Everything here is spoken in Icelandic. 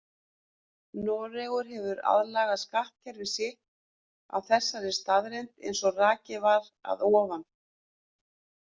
Noregur hefur aðlagað skattkerfi sitt að þessari staðreynd eins og rakið var að ofan.